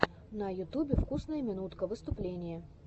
на ютубе вкусная минутка выступление